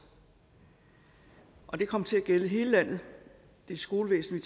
og det kom til at gælde i hele landet det er skolevæsenet